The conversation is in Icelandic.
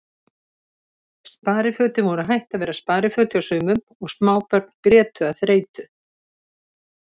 Sparifötin voru hætt að vera spariföt hjá sumum og smábörn grétu af þreytu.